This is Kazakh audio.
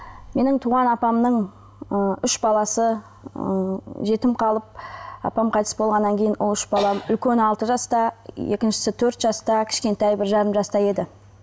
менің туған апамның ы үш баласы ы жетім қалып апам қайтыс болғаннан кейін ол үш баланың үлкені алты жаста екіншісі төрт жаста кішкентайы бір жарым жаста еді